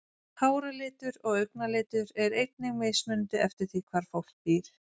Háralitur og augnalitur er einnig mismunandi eftir því hvar fólk býr.